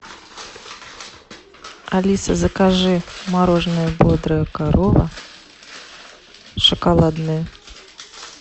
алиса закажи мороженое бодрая корова шоколадное